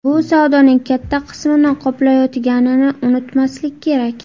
Bu savdoning katta qismini qoplayotganini unutmaslik kerak”.